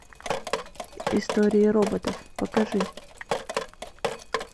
история роботов покажи